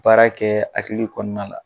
Baara kɛ hakili kɔɔna la